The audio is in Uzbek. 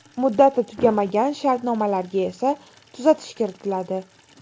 Muddati tugamagan shartnomalarga esa tuzatish kiritiladi.